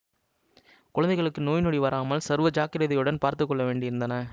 குழந்தைகளுக்கு நோய் நொடி வராமல் சர்வ ஜாக்கிரதையுடன் பார்த்து கொள்ள வேண்டியிருந்தன